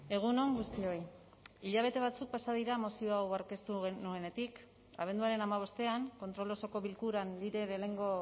egun on guztioi hilabete batzuk pasa dira mozio hau aurkeztu genuenetik abenduaren hamabostean kontrol osoko bilkuran nire lehenengo